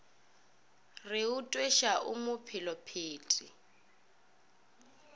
re o tweša o mophelephethe